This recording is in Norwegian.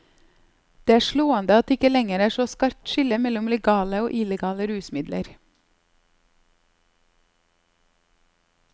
Det er slående at det ikke lenger er så skarpt skille mellom legale og illegale rusmidler.